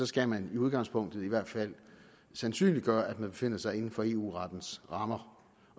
skal man i udgangspunktet i hvert fald sandsynliggøre at man befinder sig inden for eu rettens rammer